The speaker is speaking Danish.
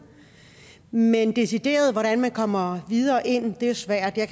men decideret hvordan man kommer videre ind er svært jeg